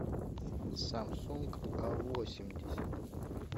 самсунг а восемьдесят